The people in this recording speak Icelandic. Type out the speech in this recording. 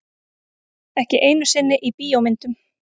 Ekki einu sinni í bíómyndum.